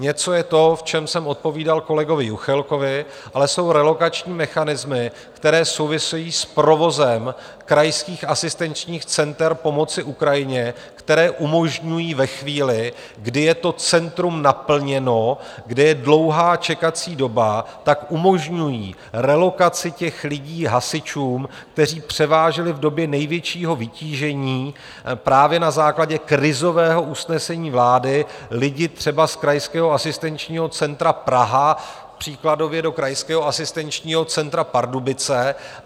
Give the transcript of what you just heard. Něco je to, v čem jsem odpovídal kolegovi Juchelkovi, ale jsou relokační mechanismy, které souvisejí s provozem krajských asistenčních center pomoci Ukrajině, které umožňují ve chvíli, kdy je to centrum naplněno, kde je dlouhá čekací doba, tak umožňují relokaci těch lidí hasičům, kteří převáželi v době největšího vytížení právě na základě krizového usnesení vlády lidi třeba z Krajského asistenčního centra Praha příkladově do Krajského asistenčního centra Pardubice.